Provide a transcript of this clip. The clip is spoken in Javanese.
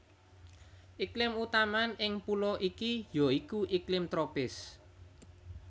Iklim utaman ing pulo iki ya iku iklim tropis